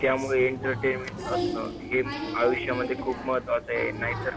त्यामुळे entertainment असणं ह्या आयुष्यामध्ये खूप महत्त्वाचा आहे नाहीतर